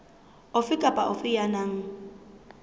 ofe kapa ofe ya nang